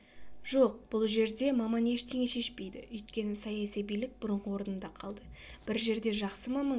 жоқ бұл жерде маман ештеңе шешпейді өйткені саяси билік бұрынғы орнында қалды бір жерде жақсы маман